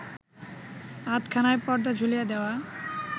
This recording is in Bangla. আধখানায় পর্দা ঝুলিয়ে দেওয়া